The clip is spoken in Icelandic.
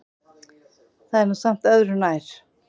Það er nú samt öðru nær.